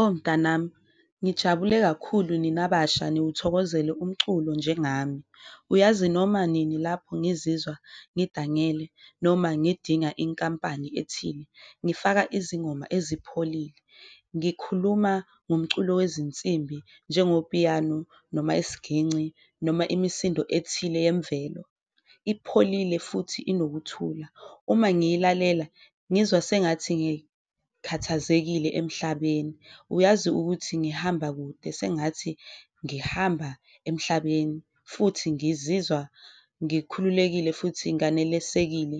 Oh mnganami, nijabule kakhulu nina basha niwuthokozele umculo njengami uyazi noma nini lapho ngizizwa ngidangele noma ngidinga inkampani ethile, ngifaka izingoma ezipholile. Ngikhuluma ngomculo wezinsimbi njengo-piano noma isiginci, noma imisindo ethile yemvelo, ipholile futhi enokuthula, uma ngiyilalela ngizwa sengathi ngikhathazekile emhlabeni, uyazi ukuthi ngihamba kude, sengathi ngihamba emhlabeni. Futhi ngizizwa ngikhululekile futhi nganelisekile,